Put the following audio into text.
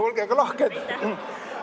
Olge aga lahked!